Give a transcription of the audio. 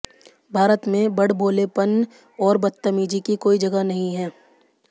भारत में बड़बोलेपन और बदतमीजी की कोई जगह नहीं है